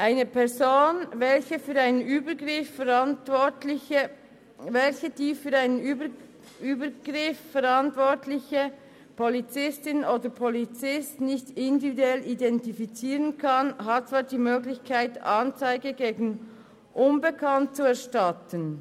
Eine Person, welche die/den für einen Übergriff verantwortliche/n Polizistin/Polizisten nicht individuell identifizieren kann, hat zwar die Möglichkeit, Anzeige gegen Unbekannt zu erstatten.